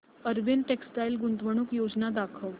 Arvind textile गुंतवणूक योजना दाखव